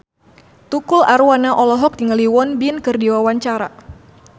Tukul Arwana olohok ningali Won Bin keur diwawancara